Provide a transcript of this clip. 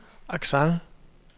accent